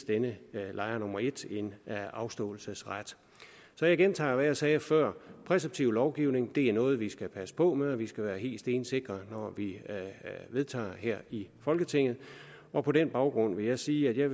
denne lejer nummer et en afståelsesret så jeg gentager hvad jeg sagde før præceptiv lovgivning er noget vi skal passe på med og vi skal være helt stensikre når vi vedtager sådan her i folketinget på på den baggrund vil jeg sige at